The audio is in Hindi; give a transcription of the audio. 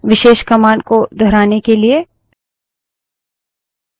विशेष command को दोहराने के लिए